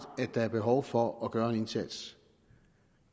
at der er behov for at gøre en indsats